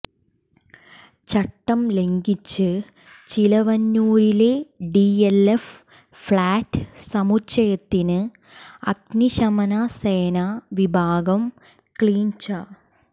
ചട്ടം ലംഘിച്ച് ചിലവന്നൂരിലെ ഡിഎൽഎഫ് ഫ്ളാറ്റ് സമുച്ചയത്തിന് അഗ്നിശമന സേനാ വിഭാഗം ക്ലീൻച